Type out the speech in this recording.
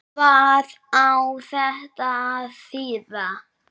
Hvað á þetta að þýða?